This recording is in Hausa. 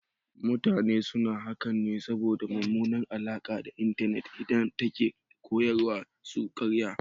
Mutane suna hakan ne saboda mummunar alaƙa da intanet inda take koya masu sukunin karya